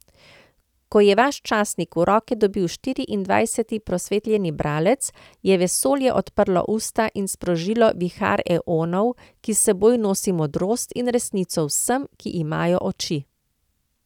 Ko je vaš časnik v roke dobil štiriindvajseti prosvetljeni bralec, je vesolje odprlo usta in sprožilo vihar eonov, ki s seboj nosi modrost in resnico vsem, ki imajo oči.